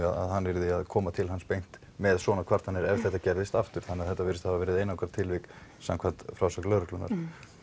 að hann yrði að koma til hans beint með svona kvartanir ef þetta gerðist aftur þannig að þetta virðist hafa verið einangrað tilvik samkvæmt frásögn lögreglunnar